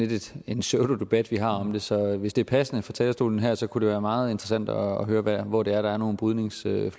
lidt en pseudodebat vi har om det så hvis det er passende fra talerstolen her kunne det være meget interessant at høre hvor det er der er nogle brydningsflader